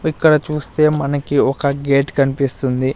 ఇక్కడ చూస్తే మనకి ఒక గేట్ కనిపిస్తుంది.